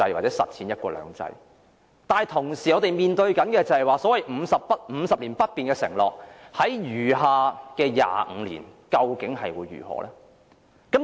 但是，我們同時面對所謂50年不變的承諾在餘下的25年，究竟會如何呢？